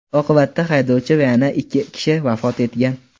Oqibatda haydovchi va yana ikki kishi vafot etgan.